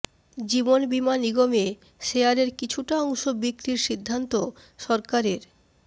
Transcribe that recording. জীবন বিমা নিগমে শেয়ারের কিছুটা অংশ বিক্রির সিদ্ধান্ত সরকারের